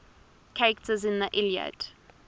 characters in the iliad